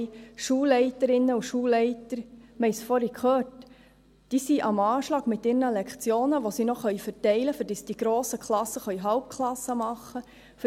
Schulleiterinnen und Schulleiter sind am Anschlag mit den Lektionen, die sie noch verteilen können, damit diese grossen Klassen Halbklassenunterricht machen können.